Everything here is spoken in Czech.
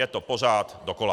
Je to pořád dokola.